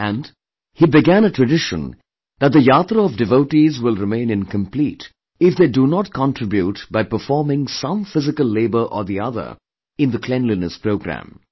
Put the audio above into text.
And, he began a tradition that the yatra of devotees will remain incomplete if they do not contribute by performing some physical labour or the other in the cleanliness programme